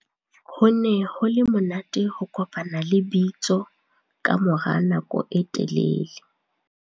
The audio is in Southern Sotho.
Ho ne ho le monate ho kopana le bitso ka mora nako e telele.